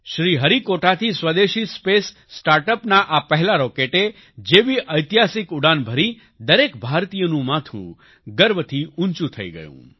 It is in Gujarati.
શ્રીહરિકોટાથી સ્વદેશી સ્પેસ સ્ટાર્ટઅપના આ પહેલા રોકેટે જેવી ઐતિહાસિક ઉડાન ભરી દરેક ભારતીયનું માથું ગર્વથી ઉંચું થઈ ગયું